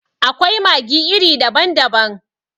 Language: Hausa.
Akwai maggi iri daban daban.